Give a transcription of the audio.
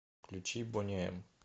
включи бони эм